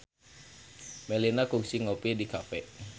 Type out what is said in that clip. Melinda kungsi ngopi di cafe